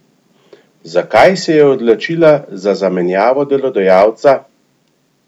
Zakaj se je odločila za zamenjavo delodajalca?